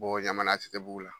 Bɔ ɲamana ATTBUGU la.